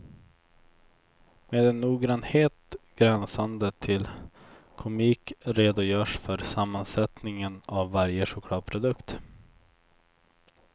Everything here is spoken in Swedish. Med en noggrannhet gränsande till komik redogörs för sammansättningen av varje chokladprodukt.